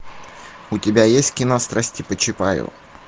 у тебя есть кино страсти по чапаю